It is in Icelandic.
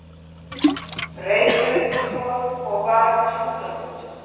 Reykjavíkurborg og var við Skúlagötu.